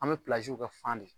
An me kɛ fan de